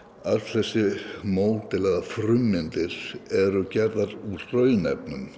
öll þessi módel eða frummyndir eru gerðar úr